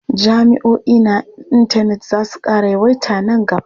Jami'oi na intanet za su ƙara yawaita man gaba.